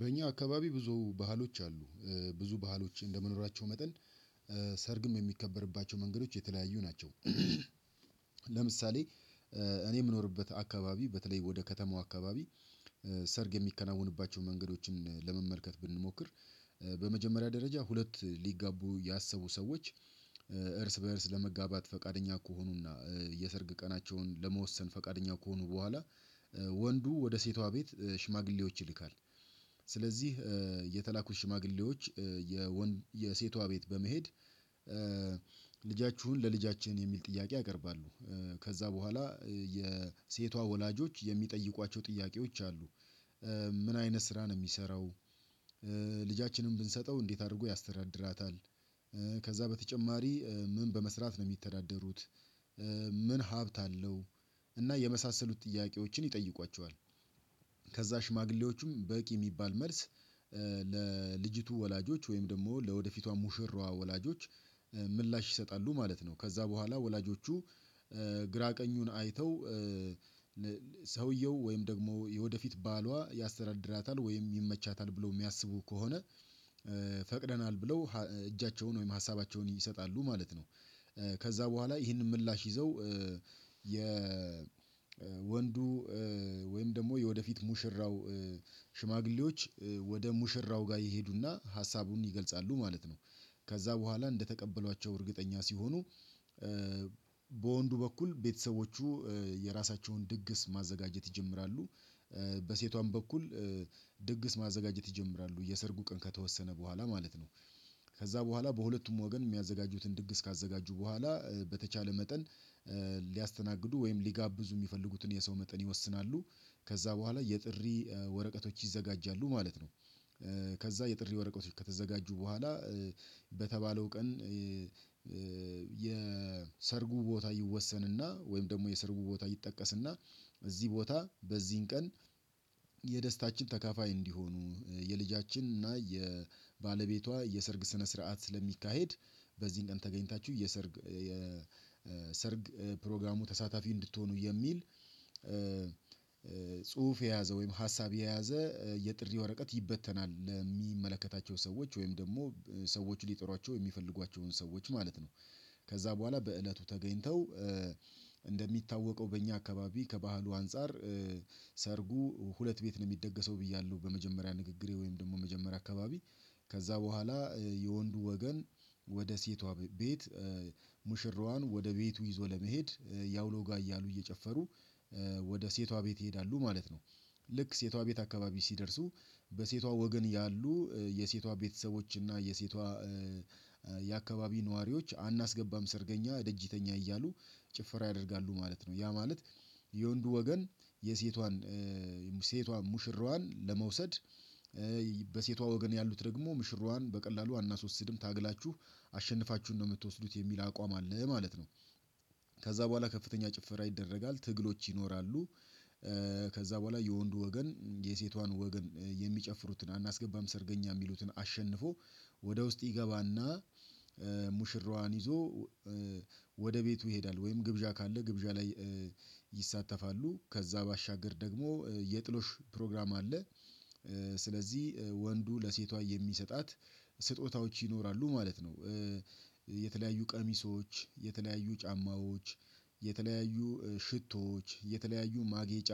በእኛ አካባቢ ብዙ ባህሎች አሉ ብዙ ባህሎች እንደመኖራቸው መጠን ሰርግም የሚከበርባቸው መንገዶች የተለያዩ ናቸው። ለምሳሌ እኔ የምኖርበት አካባቢ በተለይ ወደ ከተማው አካባቢ ሰርግ የሚከናወኑባቸው መንገዶችን ለመመልከት ብንሞክር በመጀመሪያ ደረጃ ሁለት ሊጋቡ ያሰቡ ሰዎች እርስ በእርስ ለመጋባት ፈቃደኛ ከሆኑና የሰርግ ቀናቸውን ለመወሰን ፈቃደኛ ከሆኑ በኋላ ወንዱ ወደ ሴቷ ቤት ሽማግሌዎች ይልካል። ስለዚህ የተላኩት ሽማግሌዎች የሴቷ ቤት በመሄድ ልጃችሁን ለልጃችን የሚል ጥያቄ ያቀርባሉ። ከዛ በኋላ የሴቷ ወላጆች የሚጠይቋቸው ጥያቄዎች አሉ። ምን አይነት ስራ ነው የሚሰራው? ልጃችንን ብንሰጠው እንዴት አድርጎ ያስተዳድራታል? ከዛ በተጨማሪ ምን በመስራት ነው የሚተዳደሩት? ምን ሀብት አለው? እና የመሳሰሉት ጥያቄዎችን ይጠይቋቸዋል። ከዛ ሽማግሌዎቹም በቂ የሚባል መልስ ለልጅቱ ወላጆች ወይም ደግሞ ለወደፊቷ ሙሽራዋ ወላጆች ምላሽ ይሰጣሉ ማለት ነው። ከዛ በኋላ ወላጆቹ ግራ ቀኙን አይተው ሰውየው ወይም ደግሞ የወደፊት ባሏ ያስተዳድራታል ወይም ይመቻታል ብለው የሚያስቡ ከሆነ ፈቅደናል ብለው እጃቸውን ወይም ሀሳባቸውን ይሰጣሉ ማለት ነው። ከዛ በኋላ ይህንን ምላሽ ይዘው የወንዱ ወይም ደግሞ የወደፊት ሙሽራው ሽማግሌዎች ወደ ሙሽራው ጋር ይሄዱና ሀሳቡን ይገልጻሉ ማለት ነው። ከዛ በኋላ እንደተቀበሏቸው እርግጠኛ ሲሆኑ በወንዱ በኩል ቤተሰቦቹ የራሳቸውን ድግስ ማዘጋጀት ይጀምራሉ። በሴቷም በኩል ድግስ ማዘጋጀት ይጀምራሉ የሰርጉ ቀን ከተወሰነ በኋላ ማለት ነው። ከዛ በኋላ በሁለቱም ወገን የሚያዘጋጁትን ድግስ ካዘጋጁ በኋላ በተቻለ መጠን ሊያስተናግዱ ወይም ሊጋብዙ የሚፈልጉትን የሰው መጠን ይወስናሉ። ከዛ በኋላ የጥሪ ወረቀቶች ይዘጋጃሉ ማለት ነው። ከዛ የጥሪ ወረቀቶች ከተዘጋጁ በኋላ በተባለው ቀን የሰርጉ ቦታ ይወሰንና ወይም ደግሞ የሰርጉ ቦታ ይጠቀስና እዚህ ቦታ በዚህን ቀን የደስታችን ተካፋይ እንዲሆኑ የልጃችን እና የባለቤቷ የሰርግ ስነ ስርዓት ስለሚካሄድ በዚህን ቀን ተገኝታችሁ የሰርግ የሰርግ ፕሮግራሙ ተሳታፊ እንድትሆኑ የሚል ጽሁፍ የያዘ ወይም ሀሳብ የያዘ የጥሪ ወረቀት ይበተናል። የሚመለከታቸው ሰዎች ወይም ደግሞ ሰዎች ሊጠሯቸው የሚፈልጓቸውን ሰዎች ማለት ነው። ከዛ በኋላ በእለቱ ተገኝተው እንደሚታወቀው በእኛ አካባቢ ከባህሉ አንፃር ሰርጉ ሁለት ቤት ነው የሚደገሰው። ብያለሁ በመጀመሪያ ንግግሬ ወይም ደግሞ መጀመሪያ አካባቢ ከዛ በኋላ የወንዱ ወገን ወደ ሴቷ ቤት ሙሽራዋን ወደ ቤቱ ይዞ ለመሄድ ያውሎ ጋር እያሉ እየጨፈሩ ወደ ሴቷ ቤት ይሄዳሉ ማለት ነው። ልክ ሴቷ ቤት አካባቢ ሲደርሱ በሴቷ ወገን ያሉ የሴቷ ቤተሰቦች እና የሴቷ የአካባቢ ነዋሪዎች አናስገባም ሰርገኛ ደጅተኛ እያሉ ጭፍራ ያደርጋሉ ማለት ነው። ያ ማለት የወንዱ ወገን የሴቷን ሴቷ ሙሽራዋን ለመውሰድ በሴቷ ወገን ያሉት ደግሞ ሙሽራዋን በቀላሉ አናሶስድም ታግላችሁ አሸንፋችሁን ነው የምትወስዱት የሚል አቋም አለ ማለት ነው። ከዛ በኋላ ከፍተኛ ጭፈራ ይደረጋል ትግሎች ይኖራሉ። ከዛ በኋላ የወንዱ ወገን የሴቷን ወገን የሚጨፍሩትን አናስገባም ሰርገኛ የሚሉትን አሸንፎ ወደ ውስጥ ይገባና ሙሽራዋን ይዞ ወደ ቤቱ ይሄዳል። ወይም ግብዣ ካለ ግብዣ ላይ ይሳተፋሉ ከዛ ባሻገር ደግሞ የጥሎሽ ፕሮግራም አለ። ስለዚህ ወንዱ ለሴቷ የሚሰጣት ስጦታዎች ይኖራሉ ማለት ነው። የተለያዩ ቀሚሶች የተለያዩ ጫማዎች የተለያዩ ሽቶዎች የተለያዩ ማጌጫ